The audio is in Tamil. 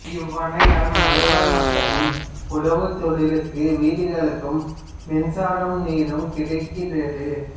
இவ்வணையால் மலைவாழ் மக்களின் உழவுத்தொழிலுக்கும் வீடுகளுக்கும் மின்சாரமும் நீரும் கிடைக்கிறது